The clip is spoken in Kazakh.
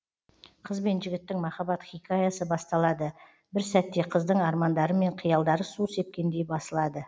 қыз бен жігіттің махаббат хикаясы басталады бір сәтте қыздың армандары мен қиялдары су сепкендей басылады